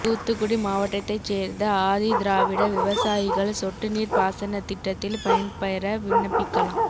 தூத்துக்குடி மாவட்டத்தைச் சேர்ந்த ஆதிதிராவிட விவசாயிகள் சொட்டுநீர்ப் பாசனத் திட்டத்தில் பயன்பெற விண்ணப்பிக்கலாம்